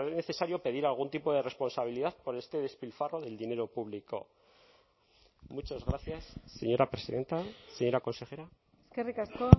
necesario pedir algún tipo de responsabilidad por este despilfarro del dinero público muchas gracias señora presidenta señora consejera eskerrik asko